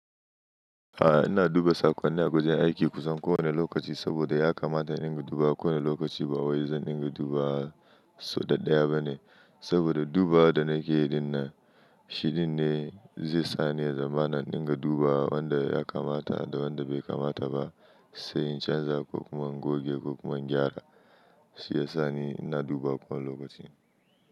A'a, ina duba sakonnin a kusan kowane lokaci saboda ya kamata in dinga duba kowane lokaci. Ba wai zan dinga duba sau daɗaya ba ne saboda duba da nake yi nan shi din ne zai sa ni zama na dinga duba wanda ya kamata da wanda bai kamata ba, sai in canza ko kuma in goge ko kuma in gyara. Shi ya sa ni ina duba kowane lokaci.